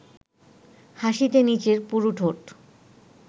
হাসিতে নিচের পুরু ঠোঁট